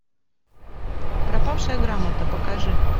пропавшая грамота покажи